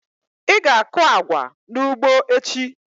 Ị ga-akụ agwa n'ugbo echi!